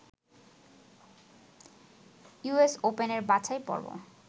US ওপেনের বাছাইপর্ব